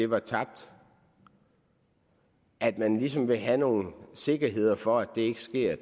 var tabt at man ligesom vil have noget sikkerhed for at det ikke sker